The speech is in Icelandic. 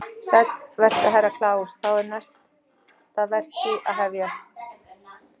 Sæll vertu Herra Kláus, þá er næsta vertí að hafjast.